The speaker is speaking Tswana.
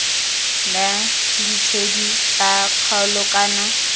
la ditshedi tsa kgaolo kana